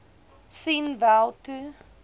sien wel toe